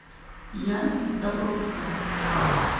яна забродская